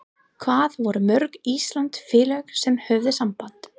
Hvað voru mörg íslensk félög sem höfðu samband?